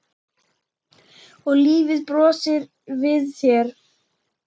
Og lífið brosir við þér!